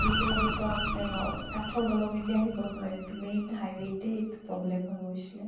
বোৰ টো এনেকুৱা মানে নৰ কাঠৰ দলং, এতিয়া সেইবোৰত নোৱাৰে ত main highway তে এইটো problem টো হৈ গৈছিলে।